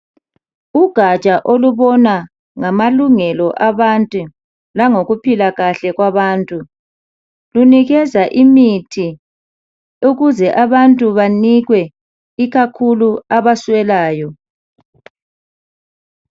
ugatsha olubona ngama lungelo abantu langokuphila kahle kwabantu lunikeza imithi ukuze abantu banikwe ikakhulu abaswelayo